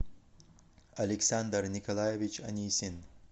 александр николаевич анисин